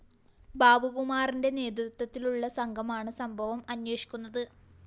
ബാബുകുമാറിന്റെ നേതൃത്വത്തിലുള്ള സംഘമാണ് സംഭവം അന്വേഷിക്കുന്നത്